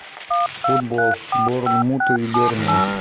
футбол борнмут и бернли